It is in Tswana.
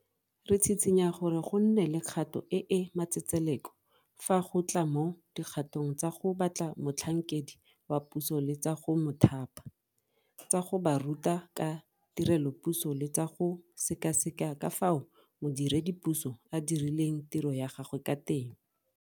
Re tshitshinya gore go nne le kgato e e matsetseleko fa go tla mo dikgatong tsa go batla motlhankedi wa puso le tsa go mo thapa, tsa go ba ruta ka tirelopuso le tsa go sekaseka ka fao modiredipuso a dirileng tiro ya gagwe ka teng.